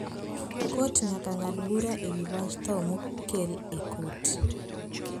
kot nyaka ngad bura ewi wach tho mokel e kot